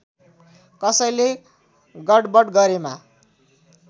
कसैले गडबड गरेमा